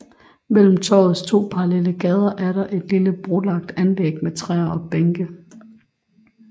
Mellem torvets to parallelle gader er der et lille brolagt anlæg med træer og bænke